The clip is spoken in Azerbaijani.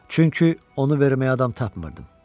Çünki onu verməyə adam tapmırdım.